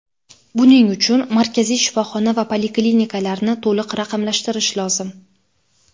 Buning uchun markaziy shifoxona va poliklinikalarni to‘liq raqamlashtirish lozim.